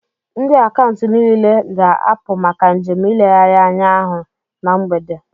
Ndị Akaụntụ niile ga-apụ maka njem ileghari anya ahụ na mgbede